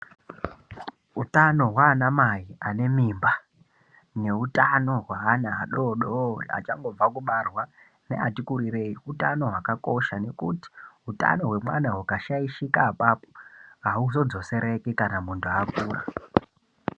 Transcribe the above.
Utano hwanamai ane mimba nehutano hweana adodori achangobva kubarwa neati kurireyi utano hwakakosha nekuti hutano wemwana hukashaishika ipapo awuzodzosereki kana mundu akura.